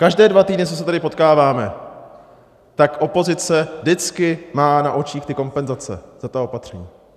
Každé dva týdny, co se tady potkáváme, tak opozice vždycky má na očích ty kompenzace a ta opatření.